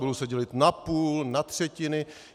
Budou se dělit na půl, na třetiny.